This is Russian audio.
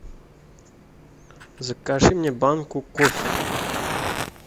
закажи мне банку кофе